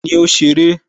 Tani ó ṣeré?